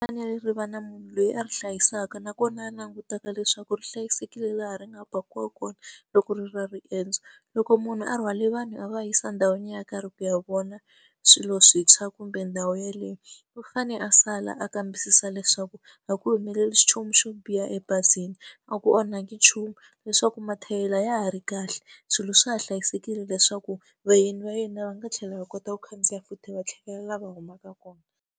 ri va na munhu loyi a ri hlayisaka nakona a langutaka na leswaku ri hlayisekile laha ri nga pakiwa kona loko ri ri na riendzo. Loko munhu a rhwale vanhu a va yisa endhawini yo karhi ku ya vona swilo swintshwa kumbe ndhawu yeleyo, u fane a sala a kambisisa leswaku a ku humeleli nchumu xo biha ebazini, a ku onhaki nchumu, leswaku mathayere ya ha ri kahle, swilo swa ha hlayisekile leswaku vayeni va yena va nga tlhela hi kota ku khandziya futhi va tlhelela la va humaka kona.